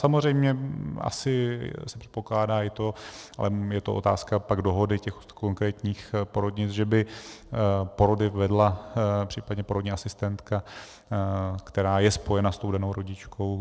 Samozřejmě asi se předpokládá i to, ale je to otázka pak dohody těch konkrétních porodnic, že by porody vedla případně porodní asistentka, která je spojena s tou danou rodičkou.